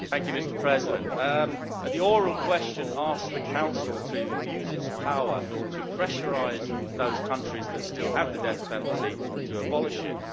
Mr President, the oral question asks the Council to use its power to pressurise those countries that still have the death penalty to abolish it.